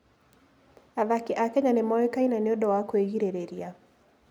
Athaki a Kenya nĩ moĩkaine nĩ ũndũ wa kwĩgirĩrĩria.